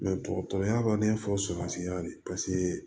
dɔgɔtɔrɔya b'a fɔ surasika de paseke